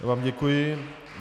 Já vám děkuji.